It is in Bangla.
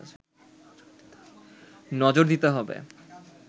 নজর দিতে হবে